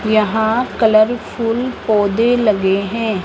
यहां कलरफुल पौधे लगे हैं।